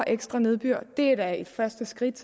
ekstra nedbør det er da et første skridt